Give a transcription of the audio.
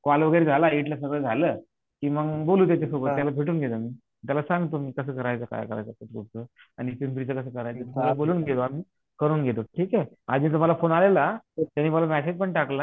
call वगैरे झाला इथलं सगळं झालं कि मग बोलू त्याच्या सोबत किवा भेटून घेऊ मग त्याला सांगतो मी कास करायचं काय करायचं मी बोलून घेतो आम्ही करून घेतो ठीक हे अजीमचा तुम्हाला फोन आलेला त्यांनी मला मेसेजपण टाकला